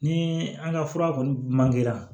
Ni an ka fura kɔni man kɛra